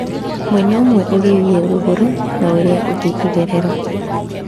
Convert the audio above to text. Mwena ũmwe ũgĩthiĩ rũgũrũ na ũrĩa ũngĩ itherero.